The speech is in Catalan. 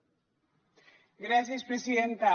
gràcies presidenta